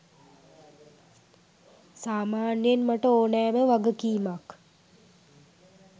සාමාන්‍යයෙන් මට ඕනෑම වගකීමක්